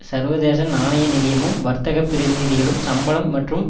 சர்வதேச நாணய நிதியமும் வர்த்தக பிரதிநிதிகளும் சம்பளம் மற்றும்